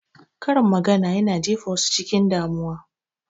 Karin magana yana jefa wasu cikin damuwa